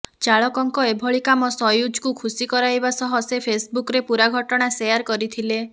ଚାଳକଙ୍କ ଏଭଳି କାମ ସୟୁଜ୍ଙ୍କୁ ଖୁସି କରାଇବା ସହ ସେ ଫେସ୍ବୁକ୍ରେ ପୂରା ଘଟଣା ସେୟାର କରିଥିଲେ